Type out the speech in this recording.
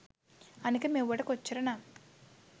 අනික මෙව්වට කොච්චර නම්